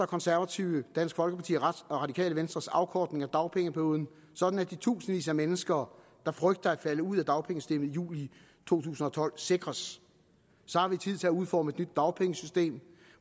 konservative dansk folkeparti og det radikale venstres afkortning af dagpengeperioden sådan at de tusindvis af mennesker der frygter at falde ud af dagpengesystemet i juli to tusind og tolv sikres så har man tid til at udforme et nyt dagpengesystem